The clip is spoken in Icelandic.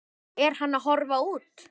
Er hann að horfa út?